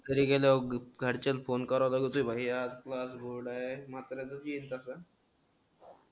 घरी गेल्यावर घरच्याला फोन करव लागत होत भाई आपलाच रोड आहे मात्र